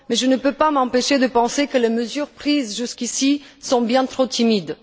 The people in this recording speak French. Mais je ne peux pas m'empêcher de penser que les mesures prises jusqu'ici sont bien trop timides.